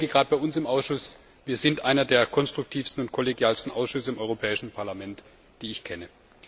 Und gerade unser Ausschuss ist einer der konstruktivsten und kollegialsten Ausschüsse im Europäischen Parlament, die ich kenne.